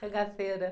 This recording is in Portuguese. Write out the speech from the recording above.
Cangaceira.